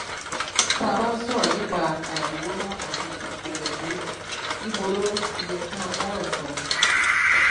tá a bá ń sọrọ nípa àìrówóná àti ipò mẹkúnnù ìbò ló ti yẹ ká mú ọrọ sọ